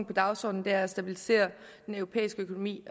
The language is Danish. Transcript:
på dagsordenen er at stabilisere den europæiske økonomi